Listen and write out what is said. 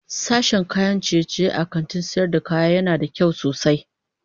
Sashen kayan ciye-ciye a cikin kantin sayar da kaya yana da kyau sosai.